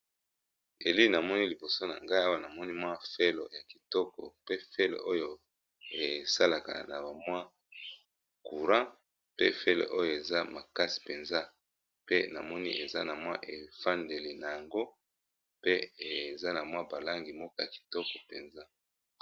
elili namoni liboso na ngai awa namoni mwa felo ya kitoko pe felo oyo esalaka na bamwa courant pe fele oyo eza makasi mpenza pe na moni eza na mwa efandeli na yango pe eza na mwa balangi moko ya kitoko mpenza